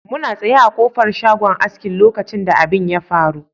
Muna tsaye a ƙofar shagon aski lokacin da abin ya faru.